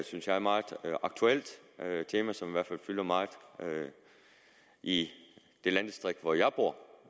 synes jeg meget aktuelt tema som i hvert fald fylder meget i det landdistrikt hvor jeg bor